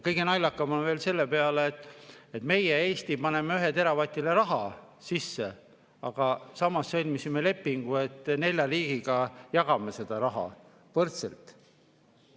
Kõige naljakam on veel see, et meie, Eesti paneme ühele teravatile raha sisse, aga samas sõlmisime lepingu, et nelja riigiga jagame seda raha võrdselt.